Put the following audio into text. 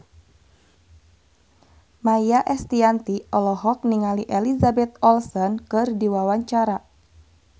Maia Estianty olohok ningali Elizabeth Olsen keur diwawancara